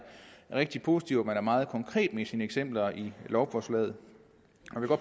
rigtig positivt at man er meget konkret med sine eksempler i lovforslaget